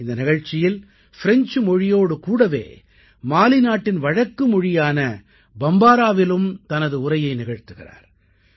இந்த நிகழ்ச்சியில் ஃப்ரெஞ்சு மொழியோடு கூடவே மாலி நாட்டின் வழக்குமொழியான பம்பாராவிலும் தனது உரையை நிகழ்த்துகிறார்